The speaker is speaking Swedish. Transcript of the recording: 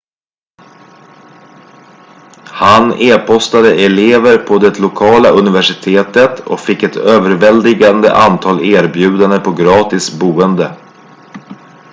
han e-postade elever på det lokala universitetet och fick ett överväldigande antal erbjudanden på gratis boende